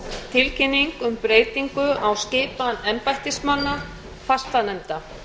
tilkynning um breytingu á skipan embættismanna fastanefnda